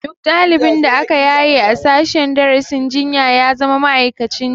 Duk ɗalibin da aka yaye a sashen darasin jinya ya zama ma'aikacin jinya